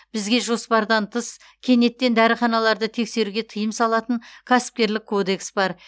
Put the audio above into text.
бізге жоспардан тыс кенеттен дәріханаларды тексеруге тыйым салатын кәсіпкерлік кодекс бар